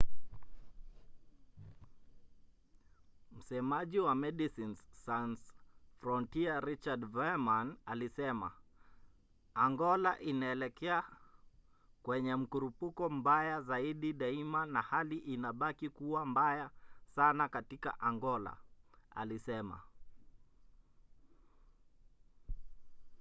msemaji wa medecines sans frontiere richard veerman alisema: angola inaelekea kwenye mkurupuko mbaya zaidi daima na hali inabaki kuwa mbaya sana katika angola,” alisema